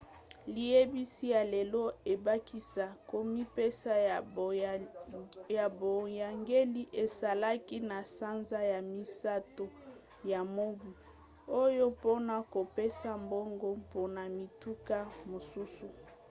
liyebisi ya lelo ebakisa komipesa ya boyangeli esalaki na sanza ya misato ya mobu oyo mpona kopesa mbongo mpona mituka mosusu